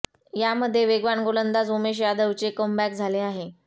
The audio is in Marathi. यामध्ये वेगवान गोलंदाज उमेश यादवचे कमबॅक झाले आहे